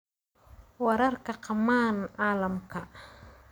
Wararka qamaan Caalamka .